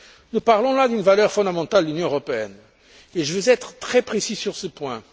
Nous parlons là d'une valeur fondamentale de l'Union européenne et je veux être très précis sur ce point.